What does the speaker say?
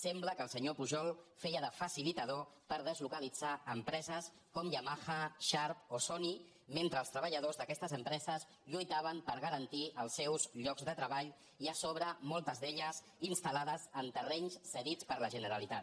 sembla que el senyor pujol feia de facilitador per deslocalitzar empreses com yama·ha sharp o sony mentre els treballadors d’aquestes empreses lluitaven per garantir els seus llocs de tre·ball i a sobre moltes d’elles instal·lades en terrenys cedits per la generalitat